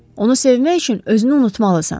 Onu sevmək üçün özünü unutmalısan.